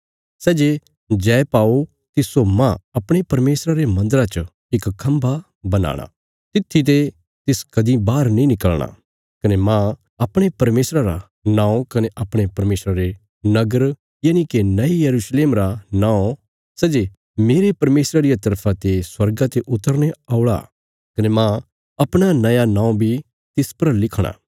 सै जे जय पाओ तिस्सो मांह अपणे परमेशरा रे मन्दरा च इक खम्भा बनाणा तित्थी ते तिस कदीं बाहर नीं निकल़णा कने मांह अपणे परमेशर रा नौं कने अपणे परमेशर रे नगर यनिके नये यरूशलेम रा नौं सै जे मेरे परमेशरा रिया तरफा ते स्वर्गा ते उतरने औल़ा कने मांह अपणा नया नौं बी तिस पर लिखणा